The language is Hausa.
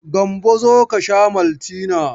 Gambo zo ka sha maltina.